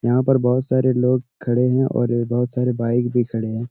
यहाँ पर बहुत सारे लोग खड़े हैं और बहुत सारे बाइक भी खड़े हैं।